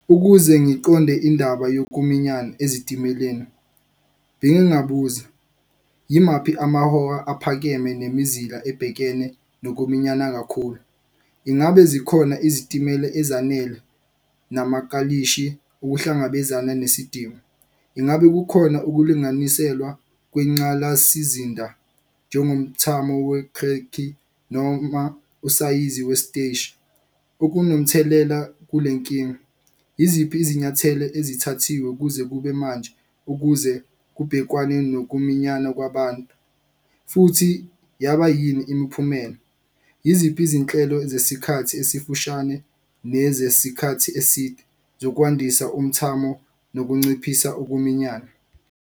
Ukuze ngiqonde indaba yokuminyana ezitimeleni bengi ngabuza, yimaphi amahora aphakeme nemizila ebhekene nokuminyana kakhulu? Ingabe zikhona izitimela ezanele namakalishi ukuhlangabezana nesidingo? Ingabe kukhona ukulunganiselwa kwenqalasizinda njengo mthamo noma usayizi wesiteshi okunomthelela kule nkinga? Yiziphi izinyathelo ezithathiwe kuze kube manje, ukuze kubhekwane nokuminyana kwabantu futhi yaba yini imiphumela? Yiziphi izinhlelo zesikhathi esifushane nezesikhathi eside zokwandisa umthamo nokunciphisa ukuminyana?